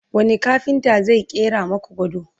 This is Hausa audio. wani kafinta zai ƙera maku gado?